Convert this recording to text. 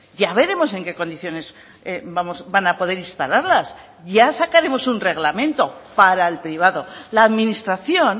ya veremos en qué condiciones van a poder instalarlas ya sacaremos un reglamento para el privado la administración